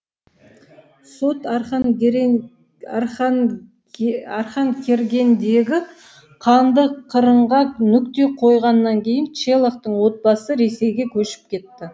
сот арқанкергендегі қанды қырғынға нүкте қойғаннан кейін челахтың отбасы ресейге көшіп кетті